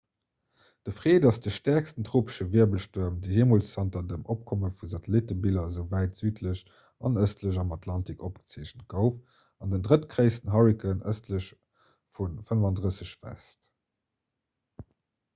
de fred ass de stäerksten tropesche wirbelstuerm dee jeemools zanter dem opkomme vu satellittebiller esou wäit südlech an ëstlech am atlantik opgezeechent gouf an den drëttgréissten hurrikan ëstlech vu 35 °w